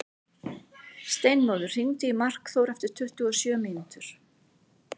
Steinmóður, hringdu í Markþór eftir tuttugu og sjö mínútur.